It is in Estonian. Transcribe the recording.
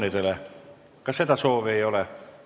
Head kolleegid, aitäh tänase tööpäeva eest!